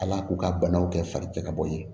Ala k'u ka banaw kɛ fari cɛ ka bɔ ye